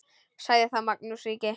Sagði þá Magnús ríki: